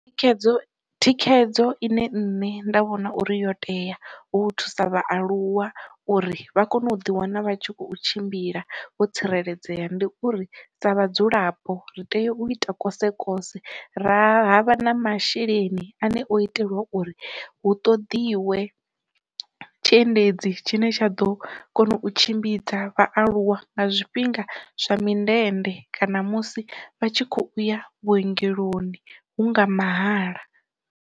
Thikhedzo thikhedzo ine nṋe nda vhona uri yo tea u thusa vhaaluwa uri vha kone u ḓi wana vha tshi kho tshimbila vho tsireledzea ndi uri sa vhadzulapo, ri tea u ita kose kose ra havha na masheleni ane o itelwa uri hu ṱoḓiwe tshiendedzi tshine tsha ḓo kona u tshimbidza vhaaluwa nga zwifhinga zwa mindende kana musi vha tshi kho ya vhuongeloni hu nga mahala.